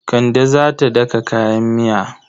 Kande za ta daka kayan miya.